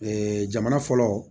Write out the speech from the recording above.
jamana fɔlɔ